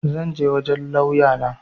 zan je wajen lauya na